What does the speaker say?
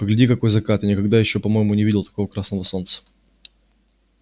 погляди какой закат я никогда ещё по-моему не видал такого красного солнца